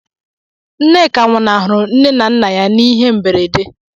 Nneka nwụnahụrụ nne na nna ya n'ihe mberede